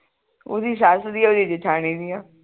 ਓਹਦੀ ਸੱਸ ਦੀ ਓਹਦੀ ਜੇਠਾਣੀ ਦੀਆਂ